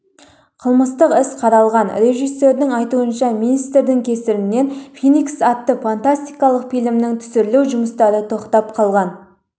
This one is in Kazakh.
қылмыстық іс қаралған режиссердың айтуынша министрдің кесірінен феникс атты фантастикалық фильмін түсіру жұмыстары тоқтап қалған